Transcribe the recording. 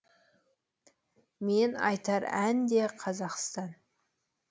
мен айтар ән де қазақстан